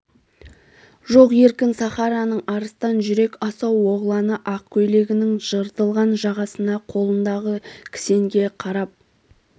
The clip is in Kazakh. жоқ еркін сахараның арыстан жүрек асау оғланы ақ көйлегінің жыртылған жағасына қолындағы кісенге қарап